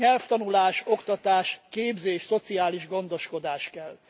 Nyelvtanulás, oktatás, képzés, szociális gondoskodás kell.